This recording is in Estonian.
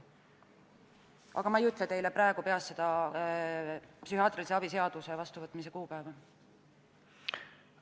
Aga peast ma teile seda psühhiaatrilise abi seaduse vastuvõtmise kuupäeva praegu ei ütle.